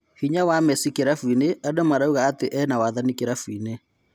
Hinya wa Mesi kĩrabũinĩ andũ marauga atĩ ena-wathani kĩrabũinĩ.